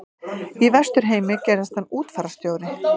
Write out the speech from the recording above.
Í Vesturheimi gerðist hann útfararstjóri.